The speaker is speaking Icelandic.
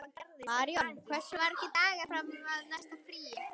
Maríon, hversu margir dagar fram að næsta fríi?